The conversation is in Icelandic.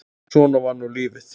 Svona var nú lífið.